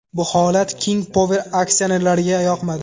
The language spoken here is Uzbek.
Bu holat King Power aksionerlariga yoqmadi.